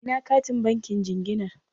Ina katin bankin jinginar?